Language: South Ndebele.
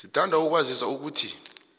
sithanda ukukwazisa ukuthi